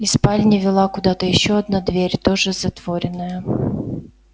из спальни вела куда-то ещё одна дверь тоже затворенная